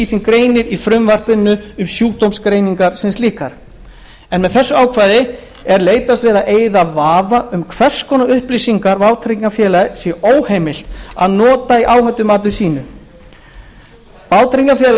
sem greinir í frumvarpinu um sjúkdómsgreiningar sem slíkar með þessu ákvæði er leitast við að eyða vafa um hvers konar upplýsingar vátryggingafélagi sé óheimilt að nota í áhættumati sínu vátryggingafélagi